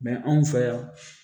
anw fɛ yan